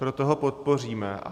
Proto ho podpoříme.